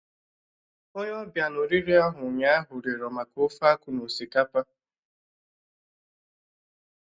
Onye ọbịa na oriri ahụ ụnyaahụ, rịọrọ maka ofe-akwu na osikapa.